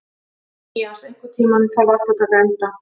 Mías, einhvern tímann þarf allt að taka enda.